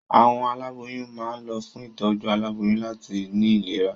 Àwọn aláboyún máa ń lọ fún ìtọ́jú aboyún láti ní ìlera.